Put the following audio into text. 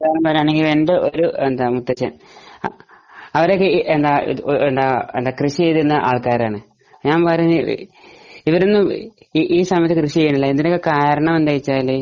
എന്റെ ഒരു മുത്തച്ഛൻ അവരൊക്കെ കൃഷി ചെയ്തുകൊണ്ടിരുന്ന ആൾക്കാരാണ് ഞാൻ പറയുന്നത് ഇവരൊന്നും ഈ സമയത്ത് കൃഷി ചെയ്യുന്നില്ല ഇതിന് കാരണം എന്താണെന്ന്ച്ചാൽ